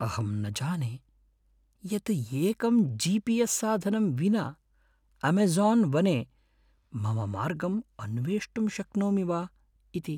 अहं न जाने यत् एकं जि.पि.एस्. साधनं विना अमेझोन् वने मम मार्गम् अन्वेष्टुं शक्नोमि वा इति।